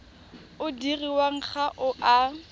o dirwang ga o a